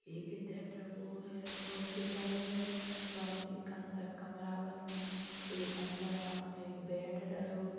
एक इते प्रभु है हॉस्पिटल है। वा में एक अंदर कमरा बनो। एक अंदर वा में एक बेड डरो।